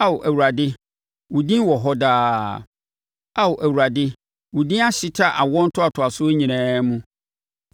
Ao Awurade, wo din wɔ hɔ daa. Ao Awurade wo din ahyeta awoɔ ntoatoasoɔ nyinaa mu.